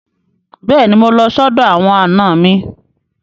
Bẹ́ẹ̀ni, mo lọ sọ́dọ̀ àwọn àna mi.